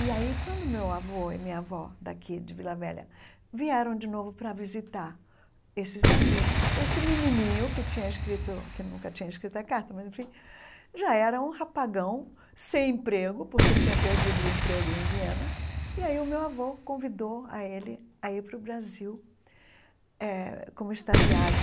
E aí quando meu avô e minha avó daqui de Vila Velha vieram de novo para visitar esses amigos, esse menininho que tinha escrito que nunca tinha escrito a carta, mas enfim, já era um rapagão sem emprego, porque tinha perdido o emprego em Viena, e aí o meu avô convidou a ele a ir para o Brasil eh como estagiário.